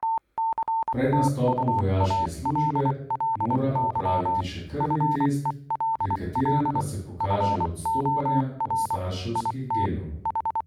Pred nastopom vojaške službe mora opraviti še krvni test, pri katerem pa se pokažejo odstopanja od starševskih genov.